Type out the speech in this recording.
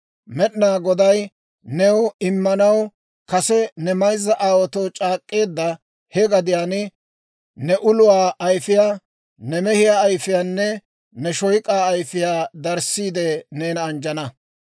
Med'inaa Goday new immanaw kase ne mayzza aawaatoo c'aak'k'eedda he gadiyaan, ne uluwaa ayfiyaa, ne mehiyaa ayifiyaanne, ne shoyk'aa ayfiyaa darissiide neena anjjana.